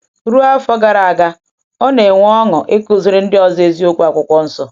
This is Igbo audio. Ruo afọ iri gara aga, ọ na-enwe ọṅụ ịkụziri ndị ọzọ eziokwu Akwụkwọ Nsọ.